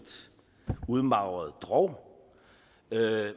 udmagret drog